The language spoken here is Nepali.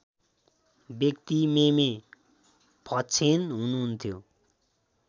व्यक्ति मेमे फक्षेन हुनुहुन्थ्यो